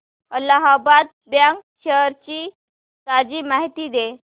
Allahabad bank shares ची ताजी माहिती दे